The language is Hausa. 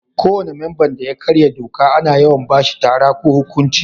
Ko wani memban da ya karya doka ana yawan ba shi tara ko huƙunci.